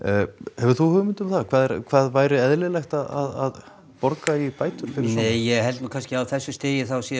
hefur þú hugmynd um það hvað hvað væri eðlilegt að borga í bætur nei ég held nú á þessu stigi sé